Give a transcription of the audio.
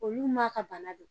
Olu m'a ka bana don